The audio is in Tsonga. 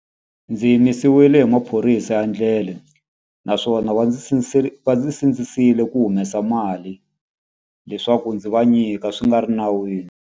Ndzi yimisiwile hi maphorisa ya ndlela, naswona va ndzi va ndzi sindzisile ku humesa mali leswaku ndzi va nyika swi nga ri nawini.